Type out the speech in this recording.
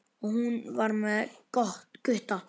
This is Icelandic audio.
Og hún var með Gutta!